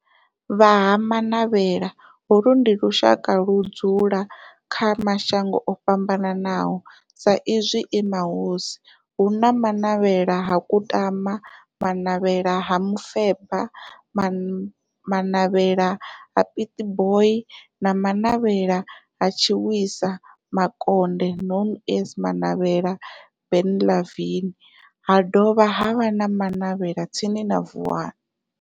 Vha Ha-Manavhela, holu ndi lushaka ludzula kha mashango ofhambanaho sa izwi e mahosi, hu na Manavhela ha Kutama, Manavhela ha Mufeba, Manavhela ha Pietboi na Manavhela ha Tshiwisa Mukonde known as Manavhela Benlavin, ha dovha havha na Manavhela tsini na Vuwani.